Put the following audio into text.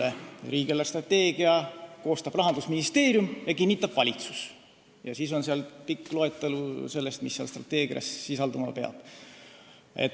Seal on öeldud, et riigi eelarvestrateegia koostab Rahandusministeerium ja kinnitab valitsus ning siis on seal pikk loetelu sellest, mida strateegia sisaldama peab.